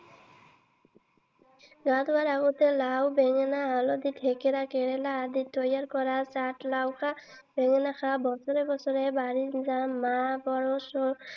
গা ধুওৱাৰ আগতে লাও, বেঙেনা, হালধি, থেকেৰা, কেৰেলা আদিৰে তৈয়াৰ কৰা চাঁক লাও খা, বেঙেনা খা বছৰে বছৰে বাঢ়ি যা, মাৰ সৰু